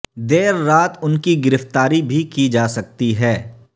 دیر رات ان کی گرفتاری بھی کی جا سکتی ہے